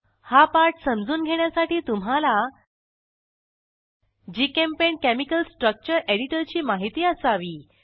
हा पाठ समजून घेण्यासाठी तुम्हाला जीचेम्पेंट केमिकल स्ट्रक्चर एडिटरची माहिती असावी